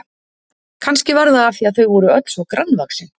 Kannski var það af því að þau voru öll svo grannvaxin.